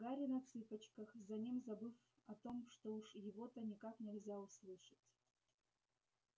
гарри на цыпочках за ним забыв о том что уж его-то никак нельзя услышать